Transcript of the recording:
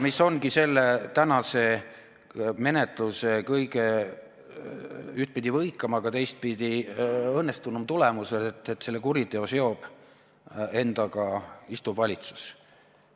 See ongi tänase menetluse ühtpidi kõige võikam, aga teistpidi kõige õnnestunum tulemus, et selle kuriteo seob endaga istuv valitsus.